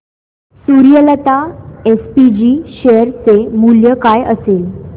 Suryalata SPG share चे मूल्य काय असेल